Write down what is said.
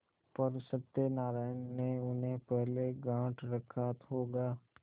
पर सत्यनारायण ने उन्हें पहले गॉँठ रखा होगा